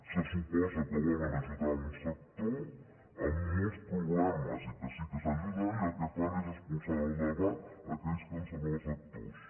se suposa que volen ajudar un sector amb molts problemes i que sí que s’ha d’ajudar i el que fan és expulsar del debat aquells que en són els actors